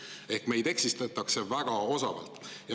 Ehk meid eksitatakse väga osavalt.